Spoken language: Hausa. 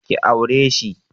Ki aure shi!